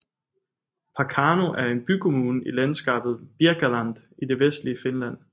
Parkano er en bykommune i landskabet Birkaland i det vestlige Finland